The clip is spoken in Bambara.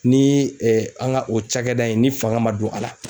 Ni an ka o cakɛda in ni fanga man don a la